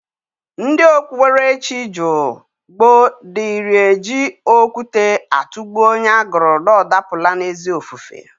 Ndi okpuberechi jụụ gboo diri eji okwute atụgbụ onye agụrụ na ọ dapụla n'ezi ofufe.